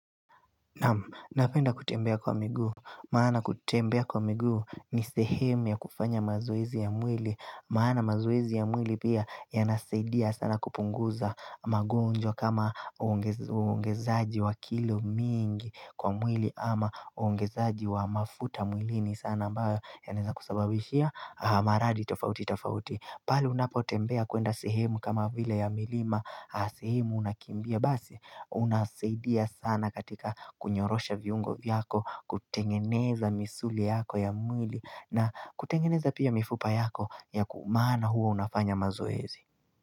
Napenda kutembea kwa miguu. Maana kutembea kwa migu ni sehemu ya kufanya mazoezi ya mwili. Maana mazoezi ya mwili pia yanasaidia sana kupunguza magonjwa kama uonge uongezaji wa kilo mingi kwa mwili ama uongezaji wa mafuta mwilini sana ambayo yaneza kusababishia maradi tofauti tofauti. Pali unapotembea kuenda sehemu kama vile ya milima sehemu unakimbia basi unasaidia sana katika kunyorosha viungo vyako kutengeneza misuli yako ya mwili na kutengeneza pia mifupa yako ya ku maana huo unafanya mazoezi.